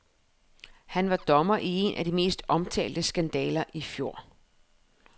Han var dommer i en af de mest omtalte skandaler i fjor.